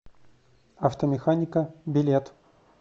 автомеханика билет